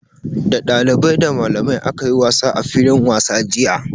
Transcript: Da dalibai, da malamai aka yi wasa a filin wasa jiya.